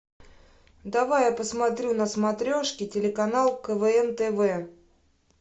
давай я посмотрю на смотрешке телеканал квн тв